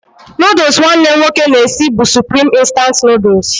Nụdụls nwanne m nwoke na-esi nri bụ Supreme instant Nụdụls.